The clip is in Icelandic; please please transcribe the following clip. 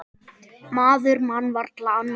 Maður man varla annað eins.